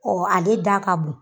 ale da ka bon.